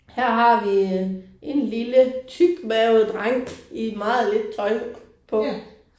Her har vi øh en lille tykmavet dreng i meget lidt tøj på